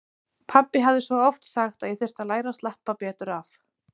Pabbi hafði svo oft sagt að ég þyrfti að læra að slappa betur af.